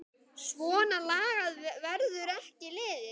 Svona lagað verður ekki liðið.